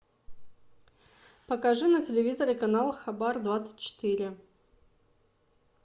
покажи на телевизоре канал хабар двадцать четыре